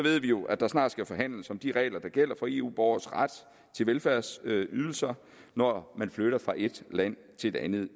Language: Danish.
jo at der snart skal forhandles om de regler der gælder for eu borgeres ret til velfærdsydelser når man flytter fra et land til et andet